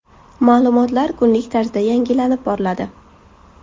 Ma’lumotlar kunlik tarzda yangilanib boriladi.